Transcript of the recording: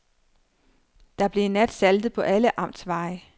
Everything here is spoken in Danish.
Der blev i nat saltet på alle amtsveje.